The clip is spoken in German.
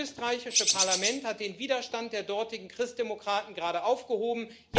Das österreichische Parlament hat den Widerstand der dortigen Christdemokraten gerade aufgehoben.